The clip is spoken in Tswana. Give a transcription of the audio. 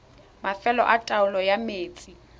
mafelo a taolo ya metsi